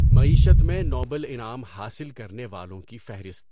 معیشت میں نوبل انعام حاصل کرنے والوں کی فہرست